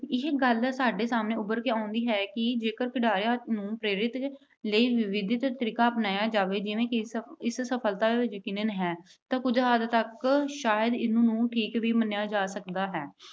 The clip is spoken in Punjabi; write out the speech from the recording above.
ਇਹ ਗੱਲ ਸਾਡੇ ਸਾਹਮਣੇ ਉਭਰ ਕੇ ਆਉਂਦੀ ਹੈ ਕਿ ਜੇਕਰ ਖਿਡਾਰੀਆਂ ਨੂੰ ਪ੍ਰੇਰਿਤ ਲਈ ਵਿਧੀਗਤ ਤਰੀਕਾ ਅਪਣਾਇਆ ਜਾਵੇ ਜਿਵੇਂ ਕਿ ਸਫਲਤਾ ਯਕੀਕਨ ਹੈ ਤਾਂ ਕੁਝ ਹੱਦ ਤੱਕ ਸ਼ਾਇਦ ਇਸ ਨੂੰ ਠੀਕ ਵੀ ਮੰਨਿਆ ਜਾ ਸਕਦਾ ਹੈ